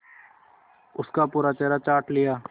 उसका पूरा चेहरा चाट लिया